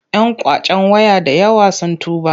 Yan ƙwacen waya da yawa sun tuba.